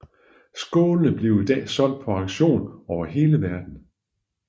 Skålene bliver i dag solgt på auktioner over hele verdenen